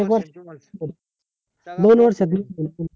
एक वर्ष दोन वर्ष दोन वर्षात